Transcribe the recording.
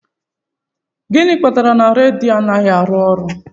Gịnị kpatara na radiator anaghị arụ ọrụ